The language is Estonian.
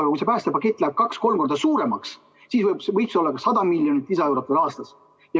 Aga kui see päästepakett läheb kaks-kolm korda suuremaks, siis võib see olla ka 100 miljonit lisaeurot aastas.